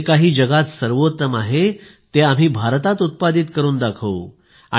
जे काही जगात सर्वोत्तम आहे ते आम्ही भारतात उत्पादित करून दाखवू